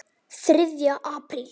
ÞRIÐJA APRÍL